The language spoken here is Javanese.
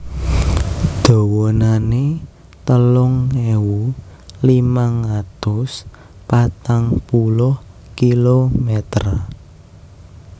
Dawanané telung ewu limang atus patang puluh kilomèter